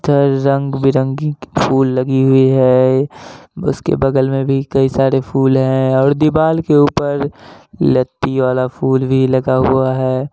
सब रंग बिरंगी फूल लगी हुयी है। उसके बगल में भी कई सारी फूल हैं और दीवाल के ऊपर लत्ती वाला फूल भी लगा हुआ है।